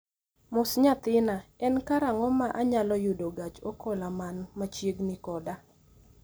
Mos nyathina, en karang'o ma anyalo yudo gach okoloman machiegni koda